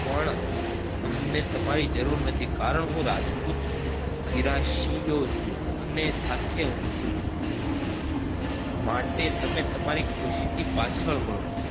પણ અમને તમારી જરૂરત નથી કારણ હું રાજપૂત ગિરાસિયો છું અને સાથે છું માટે તમે તમારી ખુશી થી પાસલ વડો